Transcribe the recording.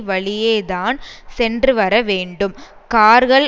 வழியே தான் சென்றுவர வேண்டும் கார்கள்